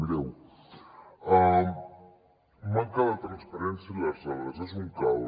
mireu manca de transparència en les dades és un caos